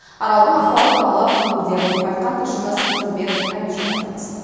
аралдың ахуалы туралы өңірде болып қайтқан тілшіміз нұрбек әмиша тарқатсын